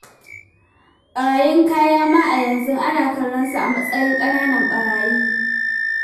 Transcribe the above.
Ɓarayin kaya ma a yanzu ana kallon su a matsayin ƙananan ɓarayi.